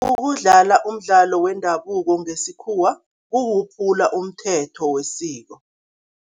Ukudlala umdlalo wendabuko ngesikhuwa kukuphula umthetho wesiko.